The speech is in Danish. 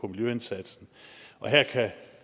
miljøindsatsen her kan jeg